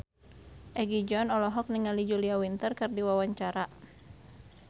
Egi John olohok ningali Julia Winter keur diwawancara